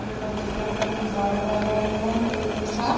ये बच्चे भी अपना एन्जॉय कर रहे हैं खेल के साथ।